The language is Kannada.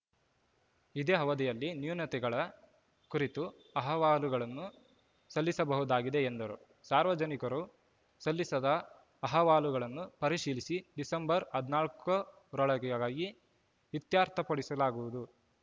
ಇದೇ ಅವಧಿಯಲ್ಲಿ ನ್ಯೂನತೆಗಳ ಕುರಿತು ಅಹವಾಲುಗಳನ್ನು ಸಲ್ಲಿಸಬಹುದಾಗಿದೆ ಎಂದರು ಸಾರ್ವಜನಿಕರು ಸಲ್ಲಿಸಿದ ಅಹವಾಲುಗಳನ್ನು ಪರಿಶೀಲಿಸಿ ಡಿಸೆಂಬರ್ ಹದಿನಾಲ್ಕು ರೊಳಗಾಗಿ ಇತ್ಯರ್ಥಪಡಿಸಲಾಗುವುದು